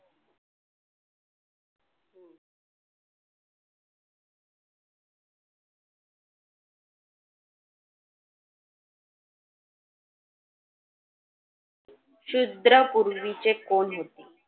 शुद्रा पूर्वीचे कोण होते?